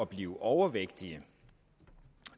blive overvægtige og